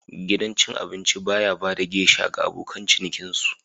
Gidan cin abinci ba ya ba da geisha ga abokan cinikin su.